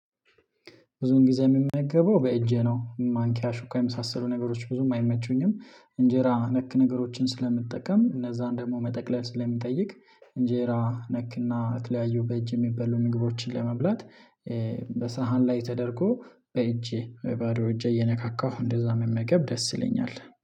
ብዙን ጊዜ የምመገበው በእጄ ነው ማንኪያ ሹካ የመሳሰሉ ነገሮች ብዙም አይመቹኝም። እንጀራ ነክ ነገሮችን ስለምጠቀም እነዛን ደግሞ መጠቅለል ስለሚጠይቅ። እንጀራ ነክና የተለያዩ በእጅ የሚበሉ ምግቦችን ለመብላት በሳህን ላይ ተደርጎ በእጄ ባዶ እጄ እየነካካሁ እንደዛ መመገብ ደስ ይለኛል